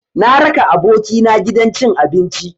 Na raka abokina gidan cin abinci.